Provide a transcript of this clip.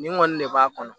Nin kɔni ne b'a kɔnɔ